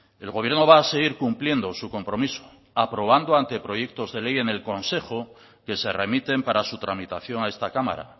el gobierno va a seguir cumpliendo su compromiso aprobando anteproyectos de ley en el consejo que se remiten para su tramitación a esta cámara